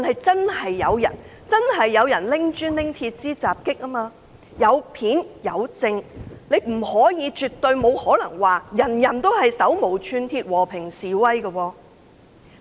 真的有人拿起磚頭及鐵枝襲擊警方，有片為證，絕對不可能說集會人士都是手無寸鐵、和平示威。